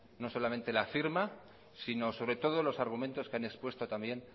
sino sobre todo los argumentos que han expuesto también